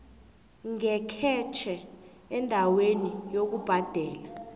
ngekhetjhe endaweni yokubhadela